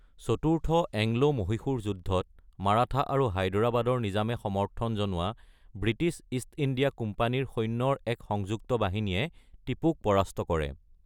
চতুৰ্থ এংলো-মহিশূৰ যুদ্ধত মাৰাঠা আৰু হায়দৰাবাদৰ নিজামে সমৰ্থন জনোৱা ব্ৰিটিছ ইষ্ট ইণ্ডিয়া কোম্পানীৰ সৈন্যৰ এক সংযুক্ত বাহিনীয়ে টিপুক পৰাস্ত কৰে।